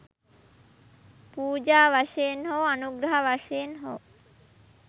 පූජා වශයෙන් හෝ අනුග්‍රහ වශයෙන් හෝ